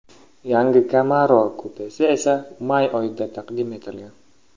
Yangi Camaro kupesi esa may oyida taqdim etilgan .